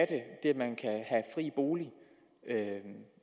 at man kan have fri bolig